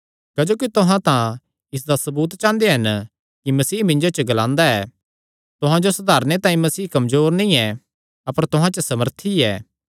क्जोकि तुहां तां इसदा सबूत चांह़दे हन कि मसीह मिन्जो च ग्लांदा ऐ तुहां जो सधारणे तांई मसीह कमजोर नीं ऐ अपर तुहां च सामर्थी ऐ